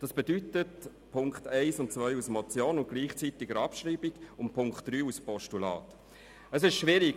Das bedeutet, dass wir die Punkte 1 und 2 der Motion mit gleichzeitiger Abschreibung und den Punkt 3 als Postulat unterstützen.